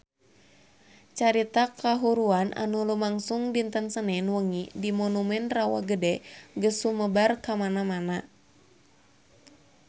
Carita kahuruan anu lumangsung dinten Senen wengi di Monumen Rawa Gede geus sumebar kamana-mana